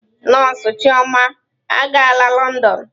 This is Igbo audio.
Nọọsụ chioma agaala Lọndọn.